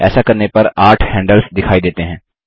ऐसा करने पर आठ हैंडल्स दिखाई देते हैं